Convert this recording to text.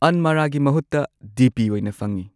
ꯑꯟꯃꯥꯔꯥꯒꯤ ꯃꯍꯨꯠꯇ D P ꯑꯣꯏꯅ ꯐꯪꯉꯦ꯫